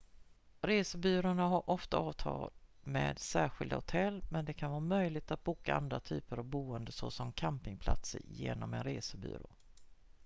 resebyråer har ofta avtal med särskilda hotell men det kan vara möjligt att boka andra typer av boenden såsom campingplatser genom en resebyrå